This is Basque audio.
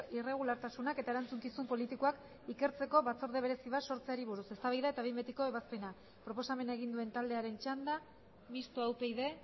irregulartasunak eta erantzukizun politikoak ikertzeko batzorde berezi bat sortzeari buruz eztabaida eta behin betiko ebazpena proposamena egin duen taldearen txanda mistoa upyd